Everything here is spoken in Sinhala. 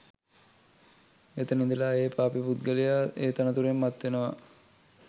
එතැන ඉඳලා ඒ පාපී පුද්ගලයා ඒ තනතුරෙන් මත් වෙනවා